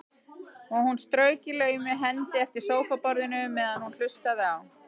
Og hún strauk í laumi hendi eftir sófaborðinu meðan hún hlustaði á